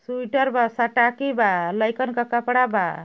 Sweater बा सटाकी बा। लईकन क कपड़ा बा।